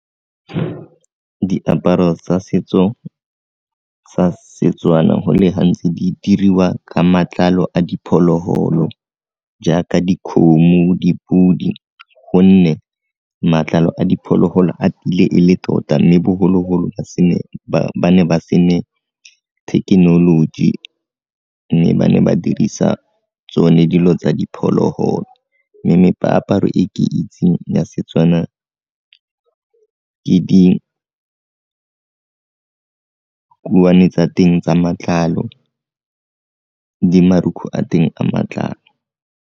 Diaparo tsa setso tsa Setswana go le gantsi di diriwa ka matlalo a diphologolo jaaka dikgomo, dipodi gonne matlalo a diphologolo a tiile e le tota mme bogologolo ba ne ba se ne thekenoloji mme ba ne ba dirisa tsone dilo tsa diphologolo, mme meaparo e ke itseng ya Setswana ke dikuane tsa teng tsa matlalo le marukgu a teng a matlalo.